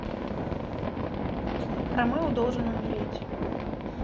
ромео должен умереть